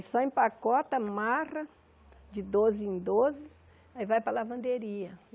Só empacota, amarra, de doze em doze, aí vai para a lavanderia.